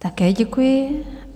Také děkuji.